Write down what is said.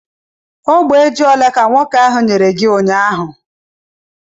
Ogbe ji ole ka nwoke ahụ nyere gi ụnyaahụ?